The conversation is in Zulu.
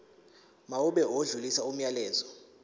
mawube odlulisa umyalezo